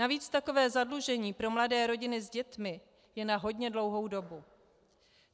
Navíc takové zadlužení pro mladé rodiny s dětmi je na hodně dlouhou dobu.